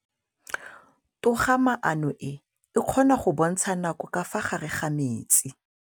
Toga-maanô e, e kgona go bontsha nakô ka fa gare ga metsi.